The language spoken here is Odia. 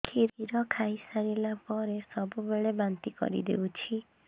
କ୍ଷୀର ଖାଇସାରିଲା ପରେ ସବୁବେଳେ ବାନ୍ତି କରିଦେଉଛି